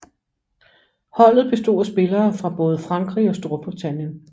Holdet bestod af spillere fra både Frankrig og Storbritannien